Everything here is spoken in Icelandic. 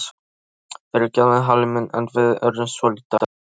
Fyrirgefðu Halli minn en við urðum svolítið æstir.